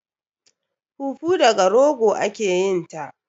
Fufu daga rogo ake yin ta